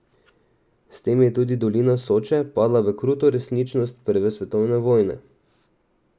S tem je tudi dolina Soče padla v kruto resničnost prve svetovne vojne.